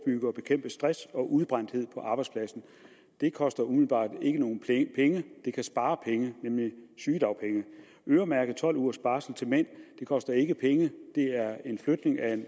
og bekæmpe stress og udbrændthed på arbejdspladsen det koster umiddelbart ikke nogen penge det kan spare penge nemlig sygedagpenge øremærke tolv ugers barsel til mænd koster ikke penge det er en flytning af